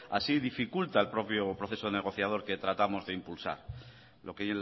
así dificulta el propio proceso negociador que tratamos de impulsar lo que